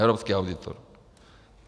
Evropští auditoři.